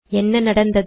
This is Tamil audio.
என்ன நடந்தது